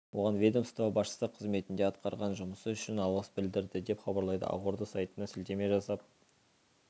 оған ведомство басшысы қызметінде атқарған жұмысы үшін алғыс білдірді деп хабарлайды ақорда сайтына сілтеме жасап